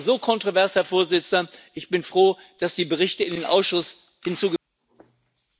Es war so kontrovers, Herr Präsident, ich bin froh, dass die Berichte in den Ausschuss zurücküberwiesen werden.